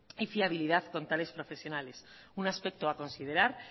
y fiabilidad con tales profesionales un aspecto a considerar